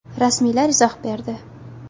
Rasmiylar izoh berdi.